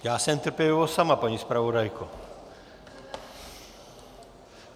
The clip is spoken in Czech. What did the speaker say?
Já jsem trpělivost sama, paní zpravodajko.